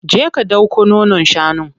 Je ka ɗauko nonon shanun.